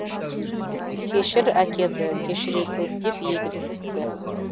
кешір әкеңді кешіре гөр деп егіліп өтті